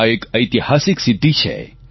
આ એક ઐતિહાસિક સિદ્ધિ છે